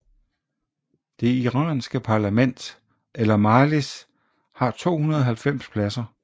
Det iranske parlament eller Majlis har 290 pladser